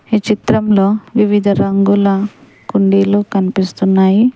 ఈ చిత్రంలో వివిధ రంగుల కుండీలు కనిపిస్తున్నాయి.